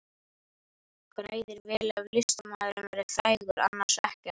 Græðir vel ef listamaðurinn verður frægur, annars ekkert.